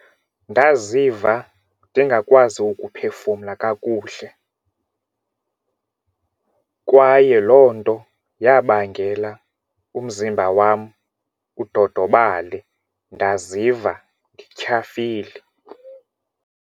Ndaziva ndingakwazi ukuphefumla kakuhle kwaye loo nto yabangela umzimba wam udodobale ndaziva ndityhafile.